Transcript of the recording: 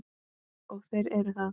Og þeir eru það.